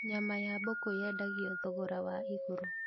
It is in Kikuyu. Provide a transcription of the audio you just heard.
Nyama ya mbũkũ yendagio thogora wa igũrũ